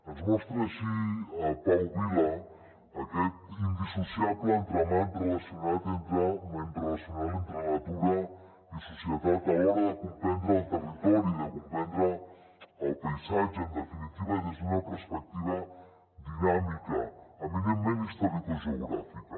ens mostra així pau vila aquest indissociable entramat relacional entre natura i societat a l’hora de comprendre el territori i de comprendre el paisatge en definitiva des d’una perspectiva dinàmica eminentment historicogeogràfica